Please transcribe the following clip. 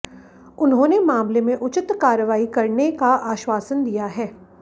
उन्होंने मामले में उचित कार्रवाई करने का आश्वासन दिया है